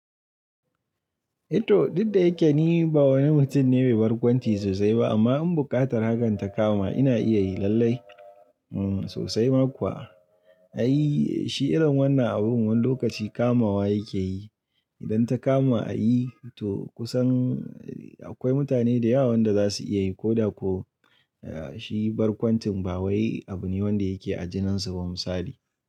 I to duk da yake ni ba wani mutum ne mai barkwanci sosai ba amma in buƙatar hakan ta kama ina iya yi lallai sosai ma kuwa. Ai, shi irin wannan abun wani lokaci kamawa yake yi. Idan ta kama a yi to kusan akwai mutane da yawa wanda za su iya yi ko da ko shi barkwancin ba wai abu ne wanda yake a jininsu ba misali.